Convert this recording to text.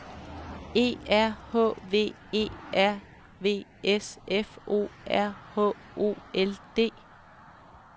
E R H V E R V S F O R H O L D